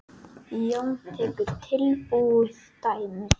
Jón tekur tilbúið dæmi.